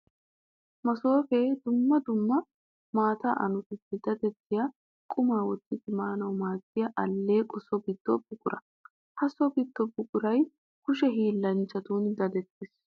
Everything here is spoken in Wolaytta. Masooppe dumma dumma maataa annotuppe daddettiya quma wottiddi maanawu maadiya aleeqqo so gido buqura. Ha so gido buquray kushe hiillanchchan daddettes.